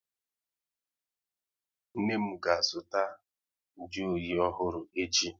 Nne m ga azụta nju oyi ọhụrụ echi